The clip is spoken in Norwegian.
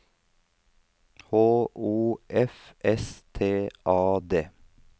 H O F S T A D